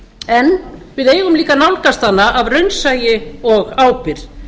en við eigum líka á nálgast hana af raunsæi og ábyrgð